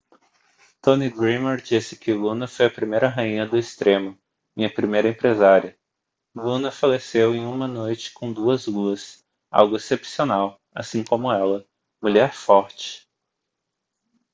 tommy dreamer disse que luna foi a primeira rainha do extremo minha primeira empresária luna faleceu em uma noite com duas luas algo excepcional assim como ela mulher forte